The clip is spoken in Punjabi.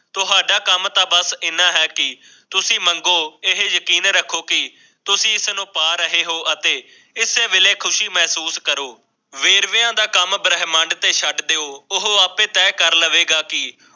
ਕੰਮ ਸਵਾਰ ਦੇਨਾ ਹੈ ਕੀ ਤੁਸੀਂ ਮੰਨਦੇ ਹੋ ਕਿ ਇਹ ਯਕੀਨ ਰੱਖੋ ਕਿ ਉਸਨੂੰ ਪਾ ਰਹੇ ਹੋ ਅਤੇ ਖੁਦ ਕਰੋ ਵੇਰਵੇ ਦਾ ਕੰਮ ਬ੍ਰਹਿਮੰਡ ਦੇ ਸੱਤ ਦਿਓ ਤੇ ਉਹ ਆਪੇ ਤੈਅ ਕਰੇਗਾ ਕਿ